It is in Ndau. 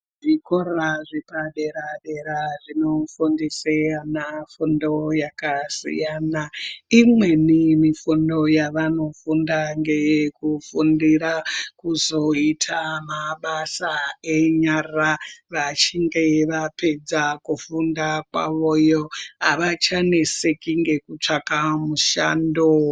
Zvikora zvepadera dera zvinofundisa ana fundo yakasiyana. Imweni mifundo yavanofunda ngeyekufundira kuzoita mabasa enyara vachinge vapedza kufunda kwavo iyoyo. Avachaneseki nekutsvaka mushando.